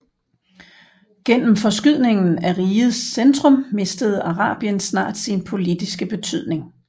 Gennem forskydningen af rigets centrum mistede Arabien snart sin politiske betydning